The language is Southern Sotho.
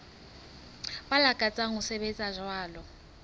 ba lakatsang ho sebetsa jwalo